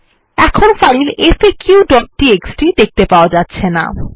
এখন ফাইল faqটিএক্সটি দেখতে পাওয়া যাচ্ছেনা